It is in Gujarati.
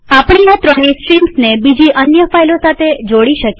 આપણે આ ત્રણેય સ્ટ્રીમ્સને બીજી અન્ય ફાઈલો સાથે જોડી શકીએ